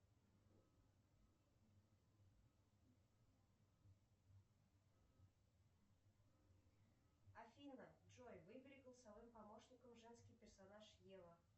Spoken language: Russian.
афина джой выбери голосовым помощником женский персонаж ева